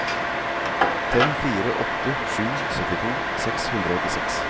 fem fire åtte sju syttito seks hundre og åttiseks